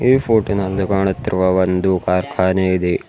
ಈ ಫೋಟೋ ನಲ್ಲಿ ಕಾಣುತ್ತಿರುವ ಒಂದು ಕಾರ್ಖಾನೆ ಇದೆ.